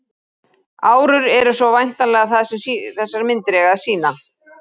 Árur eru svo væntanlega það sem þessar myndir eiga að sýna.